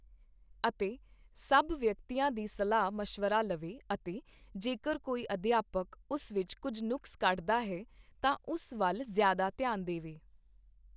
ਅਤੇ ਸਭ ਵਿਅਕਤੀਆਂ ਦੀ ਸਲਾਹ ਮਸ਼ਵਰਾ ਲਵੇ ਅਤੇ ਜੇਕਰ ਕੋਈ ਅਧਿਆਪਕ ਉਸ ਵਿੱਚ ਕੁੱਝ ਨੁਕਸ ਕੱਢਦਾ ਹੈ ਤਾਂ ਉਸ ਵੱਲ ਜ਼ਿਆਦਾ ਧਿਆਨ ਦੇ ਵੇ